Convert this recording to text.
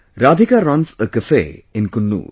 Radhika runs a cafe in Coonoor